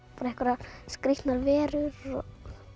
einhverjar skrítnar verur og